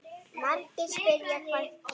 Margir spyrja: Hvað gerðist?